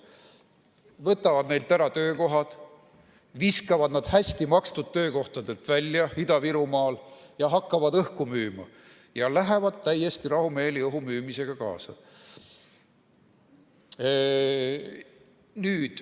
Nad võtavad neilt ära töökohad, viskavad nad välja hästi makstud töökohtadelt Ida-Virumaal ja hakkavad õhku müüma või lähevad täiesti rahumeeli õhumüümisega kaasa.